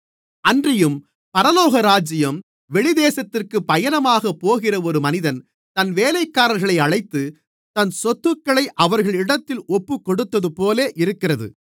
அன்றியும் பரலோகராஜ்யம் வெளிதேசத்திற்குப் பயணமாகப் போகிற ஒரு மனிதன் தன் வேலைக்காரர்களை அழைத்து தன் சொத்துக்களை அவர்களிடத்தில் ஒப்புக்கொடுத்ததுபோல இருக்கிறது